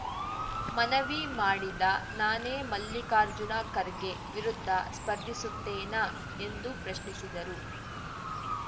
ಮನವಿ ಮಾಡಿದ ನಾನೇ ಮಲ್ಲಿಕಾರ್ಜುನ ಖರ್ಗೆ ವಿರುದ್ಧ ಸ್ಪರ್ಧಿಸುತ್ತೇನಾ ಎಂದು ಪ್ರಶ್ನಿಸಿದರು